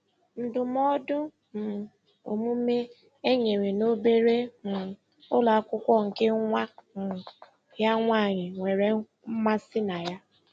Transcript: Ndụmọdụ um omume e nyere n'obere um ụlọ akwụkwọ nke nwa um ya nwaanyị nwere mmasị na ya.